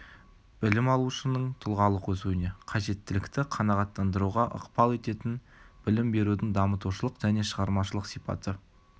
білім алушының тұлғалық өсуіне қажеттілікті қанағаттандыруға ықпал ететін білім берудің дамытушылық және шығармашалық сипаты